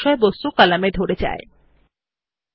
একইভাবে আমরা একটি টেবিলে অনেকগুলি কলামের জন্য এটি করতে পারি